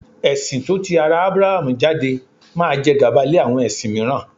Ẹ̀sin tó ti ara Aburahamu jáde máa jẹ gàba lé àwọn ẹ̀sìn mìíràn.